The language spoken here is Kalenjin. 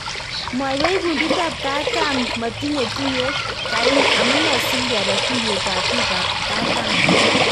Mwaywech kundit ap Kataam kotinye tuyet. kaini amunee singepee tuyet ap bik ap kataam